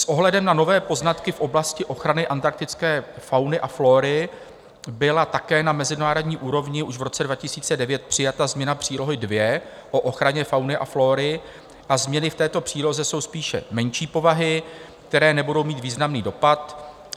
S ohledem na nové poznatky v oblasti ochrany antarktické fauny a flóry byla také na mezinárodní úrovni už v roce 2009 přijata změna Přílohy II o ochraně fauny a flóry a změny v této příloze jsou spíše menší povahy, které nebudou mít významný dopad.